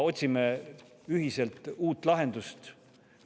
Otsime ühiselt uut lahendust!